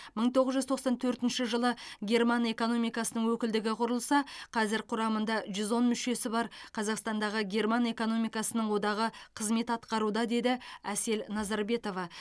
мың тоғыз жүз тоқсан төртінші жылы герман экономикасының өкілдігі құрылса қазір құрамында жүз он мүшесі бар қазақтандағы герман экономикасының одағы қызмет атқаруда деді әсел назарбетова